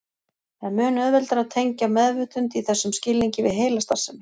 Það er mun auðveldara að tengja meðvitund í þessum skilningi við heilastarfsemi.